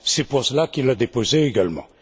C'est pour cela qu'il l'a déposé également.